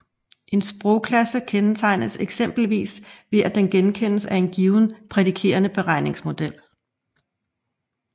En sprogklasse kendetegnes eksempelvis ved at den genkendes af en given prædikerende beregningsmodel